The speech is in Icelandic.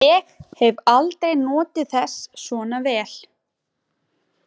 Ég hef aldrei notið þess svona vel.